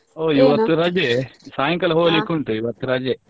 ಹೋ ಇವತ್ತು ರಜೆ ಸಾಯಂಕಾಲ ಹೋಗ್ಲಿಕ್ಕೆ ಉಂಟು ಇವತ್ತು ರಜೆ.